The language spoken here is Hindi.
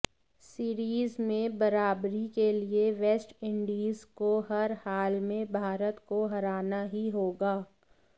सीरीज में बराबरी के लिए वेस्टइंडीज को हर हाल में भारत को हराना ही होगा